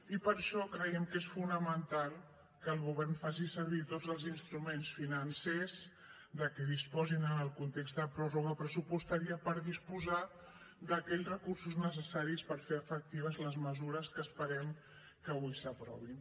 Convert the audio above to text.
i per això creiem que és fonamental que el govern faci servir tots els instruments financers de què disposi en el context de pròrroga pressupostària per disposar d’aquells recursos necessaris per fer efectives les mesures que esperem que avui s’aprovin